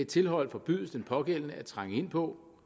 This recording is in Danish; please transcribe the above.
tilhold forbydes den pågældende at trænge ind på